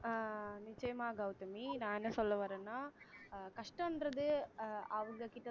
அஹ் நிச்சயமாக கௌதமி நான் என்ன சொல்ல வர்றேன்னா அஹ் கஷ்டன்றது அஹ் அவங்ககிட்ட